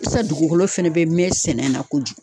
Sisan, dugukolo fɛnɛ be mɛ sɛnɛ na kojugu.